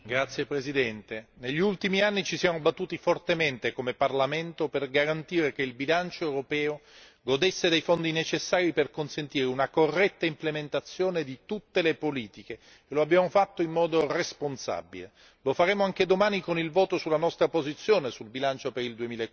Signor Presidente, onorevoli colleghi, negli ultimi anni ci siamo battuti fortemente come Parlamento, per garantire che il bilancio europeo godesse dei fondi necessari per garantire una corretta implementazione di tutte le politiche. Lo abbiamo fatto in modo responsabile, lo faremo anche domani con il voto sulla nostra posizione, sul bilancio per il